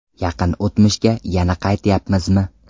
Yaqin o‘tmishga yana qaytyapmizmi?